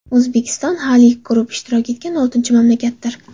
O‘zbekiston Halyk Group ishtirok etgan oltinchi mamlakatdir.